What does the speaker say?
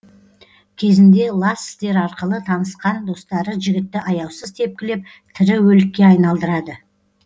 кезінде лас істер арқылы танысқан достары жігітті аяусыз тепкілеп тірі өлікке айналдырады